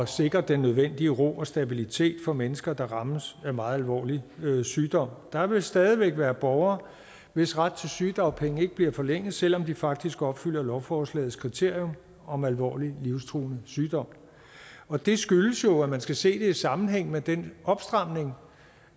sikre den nødvendige ro og stabilitet for mennesker der rammes af meget alvorlig sygdom der vil stadig væk være borgere hvis ret til sygedagpenge ikke bliver forlænget selv om de faktisk opfylder lovforslagets kriterium om alvorlig livstruende sygdom og det skyldes jo at man skal se det i sammenhæng med den opstramning